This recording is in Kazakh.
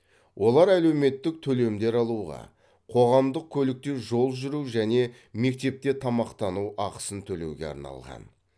олар әлеуметтік төлемдер алуға қоғамдық көлікте жол жүру және мектепте тамақтану ақысын төлеуге арналған